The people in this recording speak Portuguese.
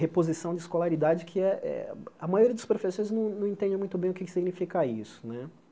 Reposição de escolaridade, que é eh a maioria dos professores não não entende muito bem o que é que significa isso, né?